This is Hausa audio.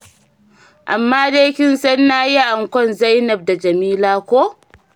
Amma dai kin san na yi ankwan Zainab da Jamila ko?